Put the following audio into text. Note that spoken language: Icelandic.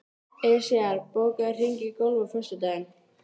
Esjar, bókaðu hring í golf á föstudaginn.